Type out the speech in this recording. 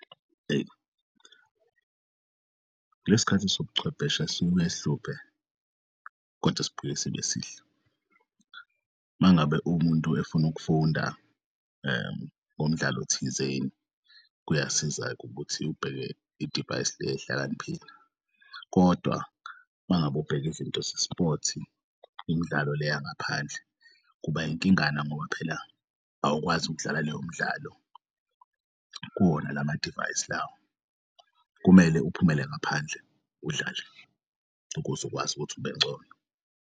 Eyi kulesikhathi sobuchwepheshe sibuye sihluphe kodwa sibuye sibe sihle. Mangabe umuntu efuna ukufunda ngomdlalo thizeni, kuyasiza-ke ukuthi ubheke idivayisi lehlakaniphile, kodwa mangabe ubheke izinto ze-sport imidlalo leya ngaphandle kuba inkingana ngoba phela awukwazi ukudlala leyo mdlalo kuwona lamadivayisi lawo. Kumele uphumele ngaphandle udlale ukuze ukwazi ukuthi ubengcono.